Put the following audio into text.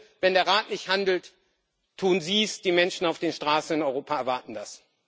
Also bitte, wenn der Rat nicht handelt, tun Sie es. Die Menschen auf den Straßen in Europa erwarten das.